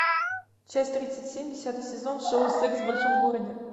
часть тридцать семь десятый сезон шоу секс в большом городе